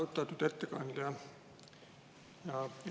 Austatud ettekandja!